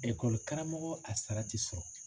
Ekɔlikaramɔgɔ a sara tɛ sɔrɔ